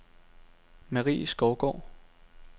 Marie Skovgaard